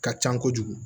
Ka ca kojugu